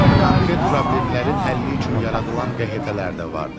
Konkret problemlərin həlli üçün yaradılan QHT-lər də vardı.